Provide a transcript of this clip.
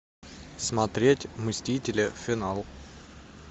смотреть мстители финал